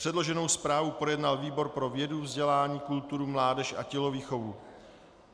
Předloženou zprávu projednal výbor pro vědu, vzdělání, kulturu, mládež a tělovýchovu.